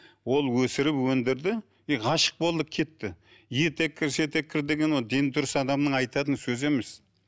ол өсіріп өндірді и ғашық болды кетті етеккір деген ол дені дұрыс адамның айтатын сөзі емес